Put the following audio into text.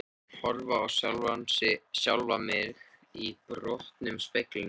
Horfa á sjálfan mig í brotnum speglinum.